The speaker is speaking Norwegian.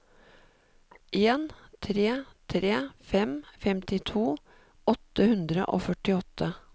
en tre tre fem femtito åtte hundre og førtiåtte